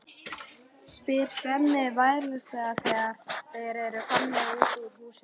spyr Svenni varfærnislega þegar þeir eru komnir út úr húsinu.